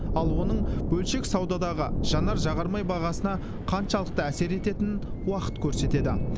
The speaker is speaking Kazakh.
ал оның бөлшек саудадағы жанар жағармай бағасына қаншалықты әсер ететінін уақыт көрсетеді